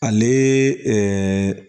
Ale ɛɛ